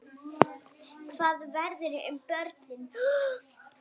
Hvað verður um börnin?